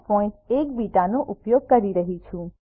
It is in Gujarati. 081 બીટાનો ઉપયોગ કરી રહ્યી છું છે